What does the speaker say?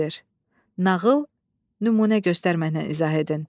Nağıl, nümunə göstərməklə izah edin.